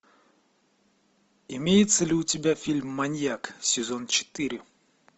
имеется ли у тебя фильм маньяк сезон четыре